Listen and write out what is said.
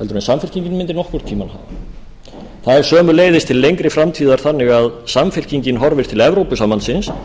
en samfylkingin mundi nokkurn tíma hafa það er sömuleiðis til lengri framtíðar þannig að samfylkingin horfir til evrópusambandsins